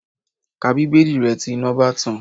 Ka bíbélì rẹ tí iná bá ti tàn